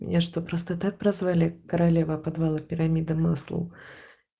меня что просто так прозвали королева подвала пирамида маслоу